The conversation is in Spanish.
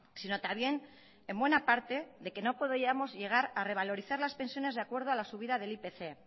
sino también en buena parte de que no podríamos llegar a revalorizar las pensiones de acuerdo a la subida del ipc